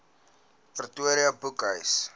protea boekhuis